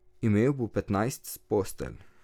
Imel bo petnajst postelj.